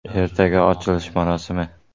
Ertaga ochilish marosimi.